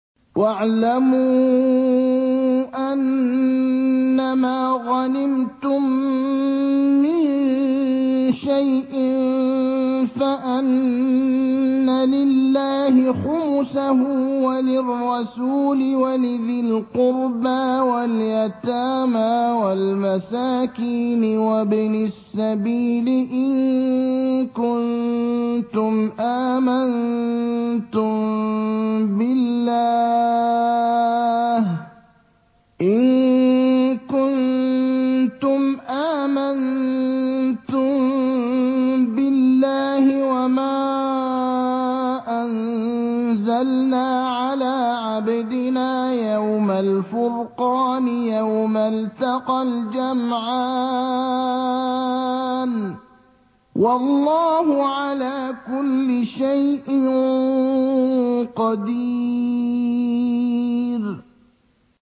۞ وَاعْلَمُوا أَنَّمَا غَنِمْتُم مِّن شَيْءٍ فَأَنَّ لِلَّهِ خُمُسَهُ وَلِلرَّسُولِ وَلِذِي الْقُرْبَىٰ وَالْيَتَامَىٰ وَالْمَسَاكِينِ وَابْنِ السَّبِيلِ إِن كُنتُمْ آمَنتُم بِاللَّهِ وَمَا أَنزَلْنَا عَلَىٰ عَبْدِنَا يَوْمَ الْفُرْقَانِ يَوْمَ الْتَقَى الْجَمْعَانِ ۗ وَاللَّهُ عَلَىٰ كُلِّ شَيْءٍ قَدِيرٌ